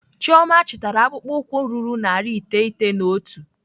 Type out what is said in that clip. Chioma chitara akpụkpọ ụkwụ ruru narị iteghete na otu.